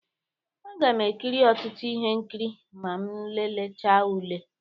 Aga m ekiri ọtụtụ ihe nkiri ma m lelecha ụle.